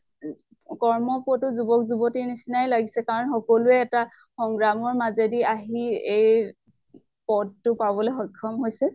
কৰ্ম পটু যুৱক যুৱতীৰ নছিনাই লাগিছে। কাৰণ সকলোয়ে এটা সংগ্ৰামৰ মাজেদি আহি এই পদ টো পাবলৈ স্ক্ষম হৈছে।